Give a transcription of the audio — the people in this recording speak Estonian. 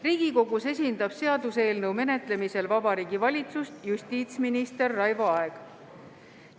Riigikogus esindab seaduseelnõu menetlemisel Vabariigi Valitsust justiitsminister Raivo Aeg.